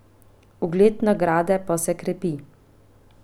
Ugled nagrade pa se krepi.